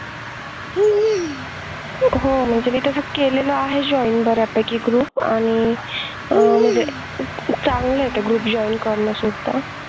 हो हो म्हणजे तसं मी केलेलं आहे join baryapaiki group आणि आह म्हणजे चांगलं आहे ते group joining करणं सुद्धा